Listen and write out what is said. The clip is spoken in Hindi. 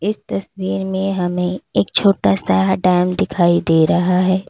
इस तस्वीर में हमें एक छोटा सा हा डैम दिखाई दे रहा है।